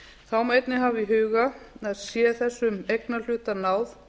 þá má einnig hafa í huga að sé þessum eignarhluta náð